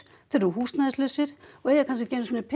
húsnæðislausir og eiga kannski ekki einu sinni